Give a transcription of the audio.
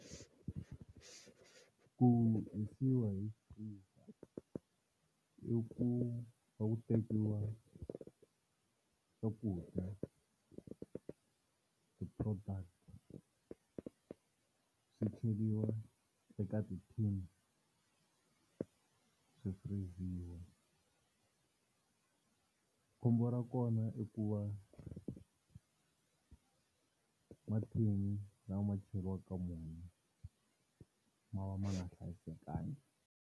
Ku hisiwa hi freeze i ku va ku tekiwa swakudya ti-product swi cheriwa eka ti-tin swi firiziwa, khombo ra kona i ku va mathini lama cheriwaka ka wona ma va ma nga hlayisekanga.